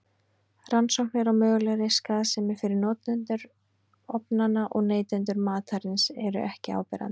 Rannsóknir á mögulegri skaðsemi fyrir notendur ofnanna og neytendur matarins eru ekki áberandi.